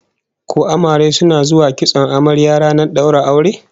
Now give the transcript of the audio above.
Ko amare suna zuwa kitson amarya ranar daura aure?